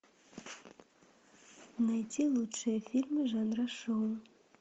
найти лучшие фильмы жанра шоу